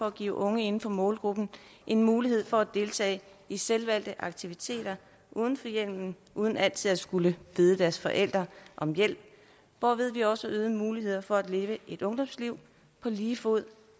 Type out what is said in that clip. at give unge inden for målgruppen en mulighed for at deltage i selvvalgte aktiviteter uden for hjemmet uden altid at skulle bede deres forældre om hjælp hvorved vi også gav øgede muligheder for at leve et ungdomsliv på lige fod